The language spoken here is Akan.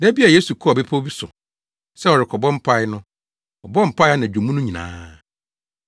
Da bi a Yesu kɔɔ bepɔw bi so sɛ ɔrekɔbɔ mpae no ɔbɔɔ mpae anadwo mu no nyinaa